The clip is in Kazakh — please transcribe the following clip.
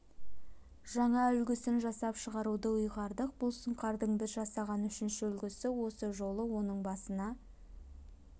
жаңа үлгісін жасап шығаруды ұйғардық бұл сұңқардың біз жасаған үшінші үлгісі осы жолы оның басына